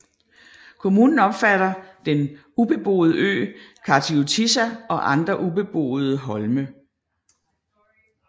Kommunen omfatter den ubeboede ø Kardiotissa og andre ubeboede holme